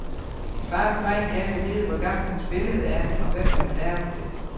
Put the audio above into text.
Min far vil meget gerne vide, hvor gammelt hans billede er, og hvem der har lavet det.